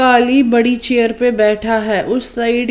काली बड़ी चेयर पर बैठा है उस साइड --